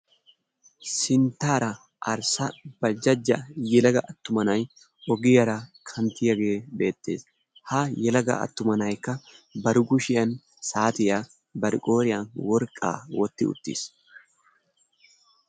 Sinttaara arssa baljjajja attuma na'ay ogiyaara kanttiyaage beettees. Haa yelaga attuma na'aykka bari kushshiyaan saatiyaa bari qooriyaan worqqaa wootti uttiis.